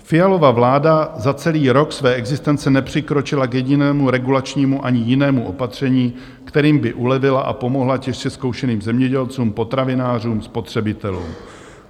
Fialova vláda za celý rok své existence nepřikročila k jedinému regulačnímu ani jinému opatření, kterým by ulevila a pomohla těžce zkoušeným zemědělcům, potravinářům, spotřebitelům.